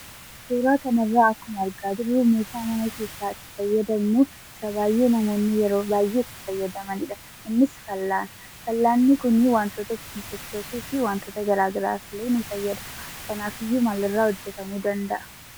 Suuraa kanarraa akkuma argaa jirru meeshaa mana keessatti itti fayyadamnu isa baay'ee namoonni yeroo baay'ee itti fayyadamanidha. Innis fal'aana. Fal'aanni kunii wantoota itiin sochoosuufi wantoota garaa garaafillee nu fayyada. Kanaafiyyuu maalirraa hojjetamuu danda'a?